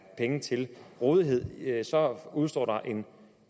penge til rådighed udestår der en